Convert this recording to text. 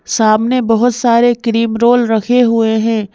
सामने बहुत सारे क्रीम रोल रखे हुए हैं।